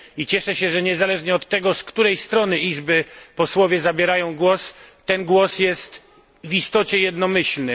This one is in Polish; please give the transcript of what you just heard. Cieszę się, że niezależnie od tego, z której strony izby posłowie zabierają głos, ten głos jest w istocie jednomyślny.